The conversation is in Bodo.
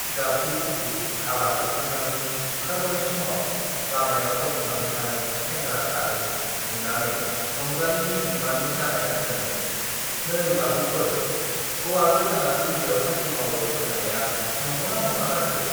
गाबगु-खुगु हाबा जोबखांनानै ओंखारबोनाय समाव लामायाव गसंनानै थानाय सेंग्रा सानै नुनानै रंजालीनि बिमानै जानाया सोङो, नै बाबुफोर, हौवा गोदाना दिल्लीयाव साख्रि मावो होन्नाया नंगौ ना नङा जाखो ?